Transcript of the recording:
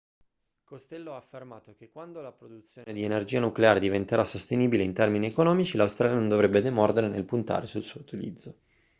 costello ha affermato che quando la produzione di energia nucleare diventerà sostenibile in termini economici l'australia non dovrebbe demordere nel puntare al suo utilizzo